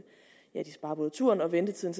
turen og ventetiden